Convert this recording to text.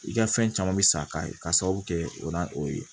I ka fɛn caman bɛ sa ka ye k'a sababu kɛ o n'a o ye